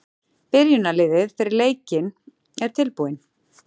Byrjunarliðin fyrir leikinn eru tilbúin.